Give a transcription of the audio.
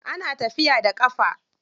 Ana tafiya da ƙafa.